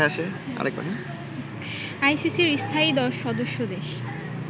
আইসিসির স্থায়ী দশ সদস্য দেশ